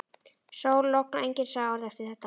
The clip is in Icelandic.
Sól, logn og enginn sagði orð eftir þetta.